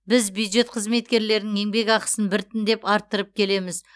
біз бюджет қызметкерлерінің еңбекақысын біртіндеп арттырып келеміз